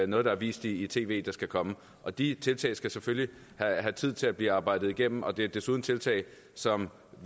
noget der er vist i tv der skal komme og de tiltag skal selvfølgelig have tid til at blive arbejdet igennem det er desuden tiltag som